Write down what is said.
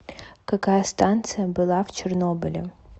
какая станция была в чернобыле